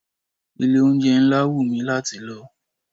Ilé-oúnjẹ ńlá wù mi láti lọ.